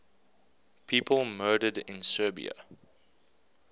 people murdered in serbia